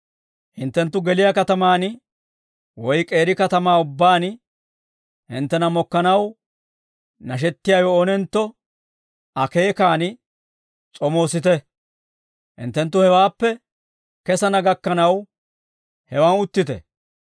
«Hinttenttu geliyaa katamaan woy k'eeri katamaa ubbaan hinttena mokkanaw nashettiyaawe oonentto akeekan s'omoosite; hinttenttu hewaappe kesana gakkanaw, hewaan uttite.